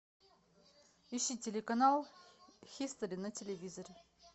ищи телеканал хистори на телевизоре